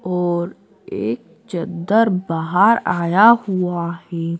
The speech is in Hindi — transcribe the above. और एक चद्दर बाहर आया हुआ है।